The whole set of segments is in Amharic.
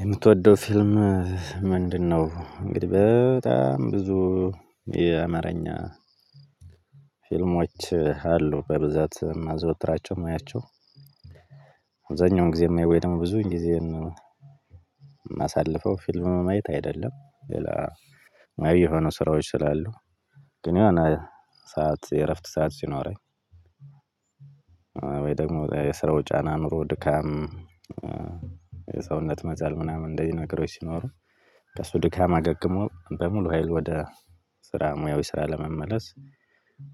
የምትወደው ፊልም ምንድነው? እንግዲህ በጣም ብዙ የአማርኛ ፊልሞች አሉ። በብዛት የማዘወትራቸው የማያቸው። ጊዜ የማየው ወይ ደግሞ ብዙ ጊዜን የማሳልፈው ፊልም ማየት አይደለም። ሌላ የሆኑ ስራዎች ስላሉ። ግን የሆነ ሰዓት የእረፍት ሰዓት ሲኖረኝ ወይ ደግሞ የስራው ጫና ኑሮ ድካም የሰውነት መዛል ምናምን እንደዚህ ነገሮች ሲኖሩ ከሱ ድካም አገግሞ በሙሉ ሀይል ወደ ስራ ሙያው ስራ ለመመለስ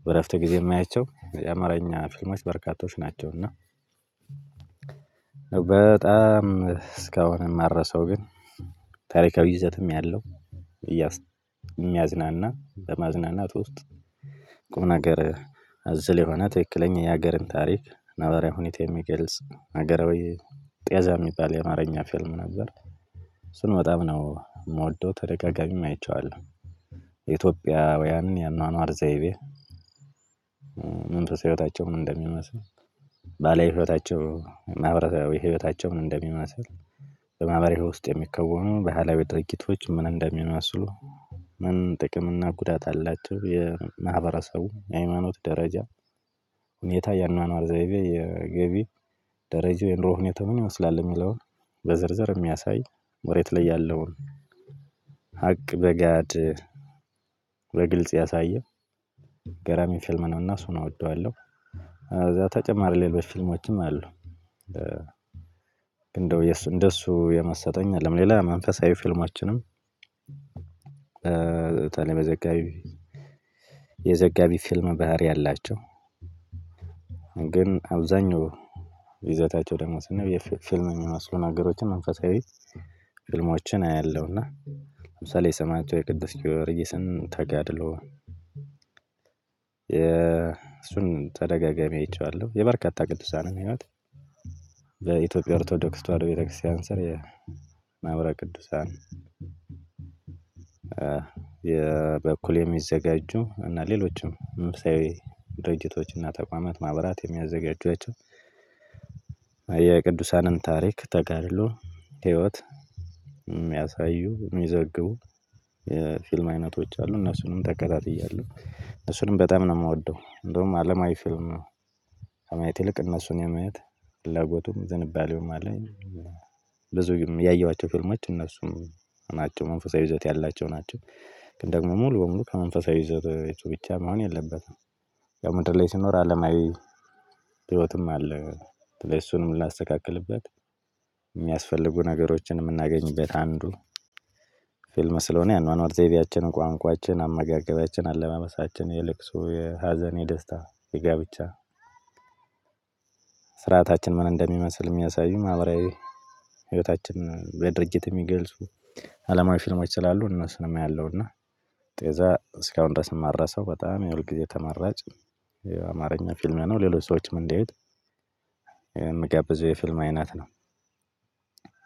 በእረፍት ጊዜ የማያቸው የአማርኛ ፊልሞች በርካቶች ናቸው። እና በጣም እስካሁን የማልረሳው ግን ታሪካዊ ይዘትም ያለው የሚያዝናና፣ በማዝናናት ውስጥ ቁምነገር አዘል የሆነ ትክክለኛ የሀገርን ታሪክ ነባራዊ ሁኔታ የሚገልጽ ሀገራዊ ጤዛ የሚባል የአማርኛ ፊልም ነበር። ስንወጣም ነው የምወደው። ተደጋጋሚም አይቼዋለሁ። የኢትዮጵያውያንን የአኗኗር ዘይቤ፣ መንፈሳዊ ህይወታቸው ምን እንደሚመስል፣ ባህላዊ ህይወታቸው፣ ማህበራዊ ህይወታቸው ምን እንደሚመስል፣ በማህበራዊ ውስጥ የሚከወኑ ባህላዊ ድርጊቶች ምን እንደሚመስሉ ምን ጥቅም እና ጉዳት አላቸው፣ የማህበረሰቡ የሃይማኖት ደረጃ ሁኔታ፣ የአኗኗር ዘይቤ፣ የገቢ ደረጃ፣ የኑሮ ሁኔታ ምን ይወስዳል የሚለውን በዝርዝር የሚያሳይ መሬት ላይ ያለውን ሀቅ በጋድ በግልጽ ያሳየ ገራሚ ፊልም ነው። እና ሱና እወደዋለሁ። እዛ ተጨማሪ ሌሎች ፊልሞችም አሉ። እንደው እንደሱ የመሰጠኝ የየለም። ሌላ መንፈሳዊ ፊልሞችንም በጣም የመዘጋቢ የዘጋቢ ፊልም ባህሪ አላቸው። ግን አብዛኛው ይዘታቸው ደግሞ ስናይ ፊልም ሚመስሉ ነገሮችን መንፈሳዊ ፊልሞችን የሰማዕቱ የቅዱስ ጊወርጊስን ተጋድሎ የእሱን ተደጋጋሚ አይቼዋለሁ። የበርካታ ቅዱሳንን ህይወት በኢትዮጵያ ኦርቶዶክስ ተዋህዶ ቤተክርስቲያን ስር የማኅበረ ቅዱሳን የበኩል የሚዘጋጁ እና ሌሎችም መንፈሳዊ ድርጅቶች እና ተቋማት ማህበራት የሚያዘጋጇቸው የቅዱሳንን ታሪክ፣ ተጋድሎ፣ ህይወት የሚያሳዩ የሚዘግቡ፣ የፊልም አይነቶች አሉ። እነሱንም ተከታትያለሁ። እሱንም በጣም ነው የምወደው። እንደውም አለማዊ ፊልም ከማየት ይልቅ እነሱን የማየት ፍላጎቱም ዝንባሌውም አለኝ። ብዙውም ያየኋቸው ፍልምች እነሱም ናቸው። መንፈሳዊ ይዘት ያላቸው ናቸው። ግን ደግሞ ሙሉ በሙሉ ከመንፈሳዊ ይዘት ብቻም መሆን የለበትም። ያው ምድር ላይ ሲኖር አለማዊ ህይወትም አለ። በተለይ እሱንም ላስተካክልበት የሚያስፈልጉ ነገሮችን የምናገኝበት አንዱ ፊልም ስለሆነ የአኗኗር ዘይቤያችንን፣ ቋንቋችን፣ አመጋገቢያችንን፣ አለባበሳችንን የልክሶ፣ የሀዘኔ፣ ደስታ፣ የጋብቻ ስርዓታችን ምን እንደሚመስል የሚያሳዩም ማህበራዊ ህይወታችን በድርጊት የሚገልጹ አለማዊ ፊልሞች ስላሉ እነሱንም አያለሁ። እና ጤዛ እስካሁን ድረስም ማረሳው፣ የሁልጊዜ ተመራጭ የአማርኛ ፊልም ነው። ሌሎች ሰዎችም እንዲያዩት የምጋብዘው የፊልም አይነት ነው።